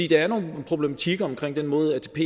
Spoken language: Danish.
der er nogle problematikker omkring den måde atp